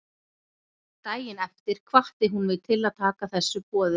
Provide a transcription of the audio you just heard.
Daginn eftir hvatti hún mig til að taka þessu boði.